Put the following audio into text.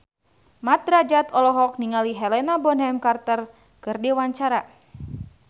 Mat Drajat olohok ningali Helena Bonham Carter keur diwawancara